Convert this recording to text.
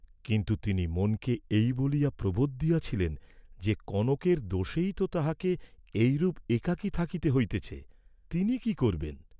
কিন্তু তিনি মনকে এই বলিয়া প্রবোধ দিয়াছিলেন যে কনকের দোষেই তো তাহাকে এইরূপ একাকী থাকিতে হইতেছে, তিনি কি করবেন?